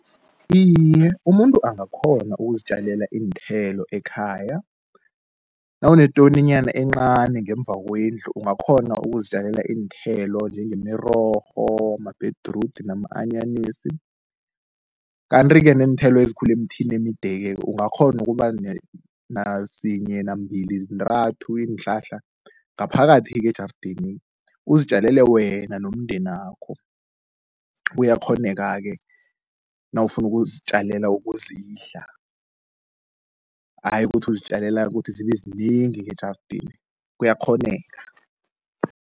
Iye, umuntu angakhona ukuzitjalela iinthelo ekhaya. Nawunetoninyana encani ngemva kwendlu ungakghona ukuzitjalela iinthelo, njengemirorho, mabhedrudi nama-anyanisi. Kanti-ke neenthelo ezikhula emthini emide-ke ungakghona ukuba nasinye nambili zintathu iinhlahla ngaphakathi ejardeni uzitjalele wena nomndenakho. Kuyakghoneka-ke nawufuna ukuzitjalela ukuzidla, ayi ukuthi ukuzitjalela ukuthi zibe zinengi ngejardeni kuyakghoneka.